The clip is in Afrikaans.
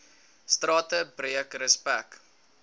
strate breek respek